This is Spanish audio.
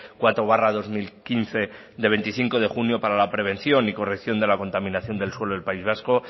cuatro barra dos mil quince de veinticinco de junio para la prevención y corrección de la contaminación del suelo del país vasco